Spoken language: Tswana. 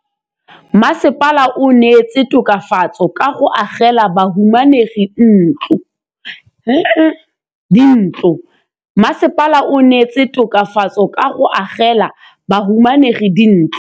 Mmasepala o neetse tokafatsô ka go agela bahumanegi dintlo.